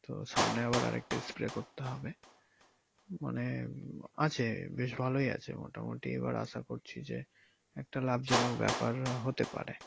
তো সামনে আবার আর একটা spray করতে হবে মানে আছে বেশ ভালোই আছে মোটামুটি এবার আশা করছি যে একটা লাভজনক ব্যাপার হতে পারে।